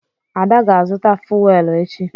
Ada ga-azụta fuwel echi.